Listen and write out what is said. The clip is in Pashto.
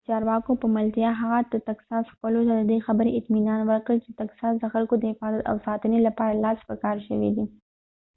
د چارواکو په ملتیا هغه د تکساس خلکو ته ددی خبری اطمینان ورکړ چی د تکساس د خلکو د حفاظت او ساتنی لپاره لاس په کار شوی دی